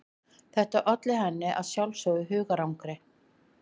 Þetta olli henni að sjálfsögðu hugarangri.